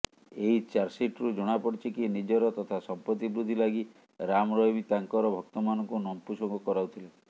ଏହି ଚାର୍ଜସିଟରୁ ଜଣାପଡ଼ିଛି କି ନିଜର ତଥା ସଂପତ୍ତି ବୃଦ୍ଧି ଲାଗି ରାମରହିମ୍ ତାଙ୍କର ଭକ୍ତମାନଙ୍କୁ ନପୁଂସକ କରାଉଥିଲେ